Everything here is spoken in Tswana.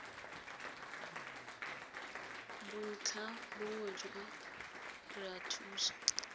bontlhabongwe jwa re a thusa